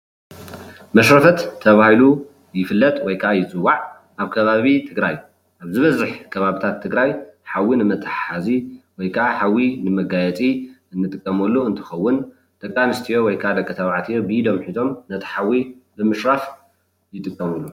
መሽረፈት ተባሂሉ ይፍለጥ ወይ ከዓ ይፅዋዕ ኣብ ከባቢ ትግራይ ዝበዝሕ ከባቢታት ትግራይ ሓዊ ንመታሓሓዚ ወይ ከዓ ሓዊ ንመጋየፂ እንጥቀመሉ እንትከውን ደቂ ኣነስትዮ ወይ ከዓ ደቂ ተባዕትዮ ብኢዶም ሒዞም ነቲ ሓዊ ንምሽራፍ ይጥቀምሉ፡፡